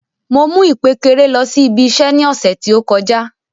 Mo mu ìkpékeré lọ sí ibi iṣẹ ní ọsẹ ti o kọjá.